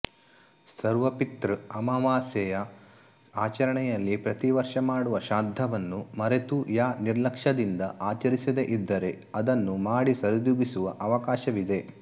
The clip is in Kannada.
ಸರ್ವಪಿತೃ ಅಮವಾಸ್ಯೆಯ ಆಚರಣೆಯಲ್ಲಿ ಪ್ರತಿವರ್ಷ ಮಾಡುವ ಶ್ರಾದ್ಧವನ್ನು ಮರೆತು ಯಾ ನಿರ್ಲಕ್ಷದಿಂದ ಆಚರಿಸದೇ ಇದ್ದರೆ ಅದನ್ನು ಮಾಡಿ ಸರಿದೂಗಿಸುವ ಅವಕಾಶವಿದೆ